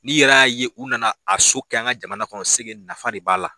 N'i yɛrɛ y'a ye u nana a so kɛ an ka jamana kɔnɔ nafa de b'a la